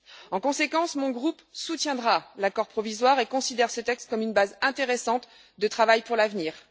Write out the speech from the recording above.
En conséquence, mon groupe soutiendra l'accord provisoire et considère ce texte comme une base intéressante de travail pour l'avenir.